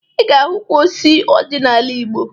Ị ga-ahụ ukwu osisi ọjị n'ala Igbo